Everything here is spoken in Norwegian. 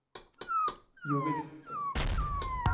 jovisst